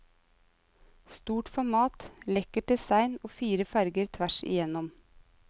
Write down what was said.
Stort format, lekkert design og fire farger tvers igjennom.